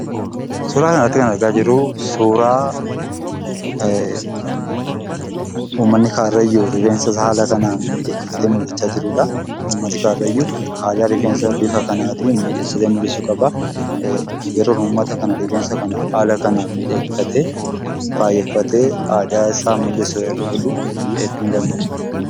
Suuraa kanarratti kan argaa jirru suuraa uummanni Karrayyuu rifeensa isaa haala kanaan miidhagfatee mul'achaa jirudha. Uummanni Karrayyuu haala ittiin rifeensa miidhagfatee mul'atu qaba. Yeroon uummata kana rifeensa kana haala kanaan miidhagfatee bareechatee aadaa isaa mul'isu yeroon argu hedduun gammada.